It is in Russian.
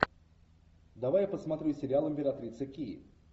давай я посмотрю сериал императрица ки